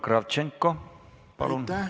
Igor Kravtšenko, palun!